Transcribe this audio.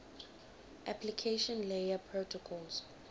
application layer protocols